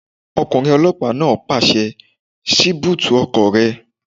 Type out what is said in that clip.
Ọkùnrin ọlọ́pàá náà pàṣẹ "ṣí búùtì ọkọ̀ rẹ!"